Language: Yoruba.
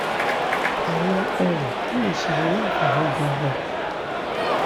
àwọn ọ̀rọ̀ tó lè ṣe ni láǹfààní gan-an